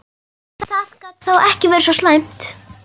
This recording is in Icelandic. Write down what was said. Það gat þá ekki verið svo slæmt.